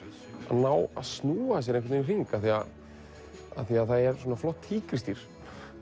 ná að snúa sér í einhvern hring af því það er flott tígrisdýr